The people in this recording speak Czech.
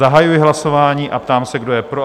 Zahajuji hlasování a ptám se, kdo je pro?